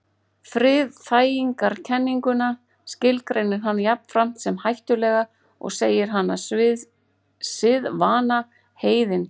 Friðþægingarkenninguna skilgreinir hann jafnframt sem hættulega og segir hana siðvana heiðindóm.